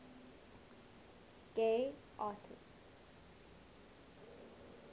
gay artists